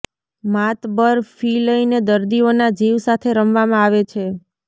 માતબર fee લઈને દર્દીઓના જીવ સાથે રમવામાં આવે છે